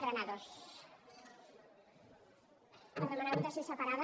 per demanar votació separada